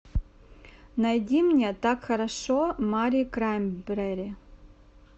найди мне так хорошо мари краймбрери